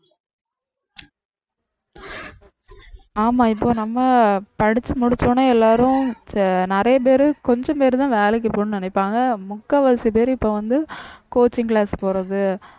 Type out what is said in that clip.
ஆமா இப்போ நம்ம படிச்சு முடிச்சவுடனே எல்லாரும் இப்ப நிறைய பேரு கொஞ்சம் பேருதான் வேலைக்கு போகணும்னு நினைப்பாங்க முக்காவாசி பேரு இப்ப வந்து coaching class போறது